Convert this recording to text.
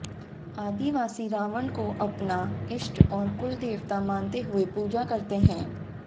आदिवासी रावण को अपना इष्ट और कुल देवता मानते हुए पूजा करते हैं